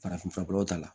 Farafinfuraw ta la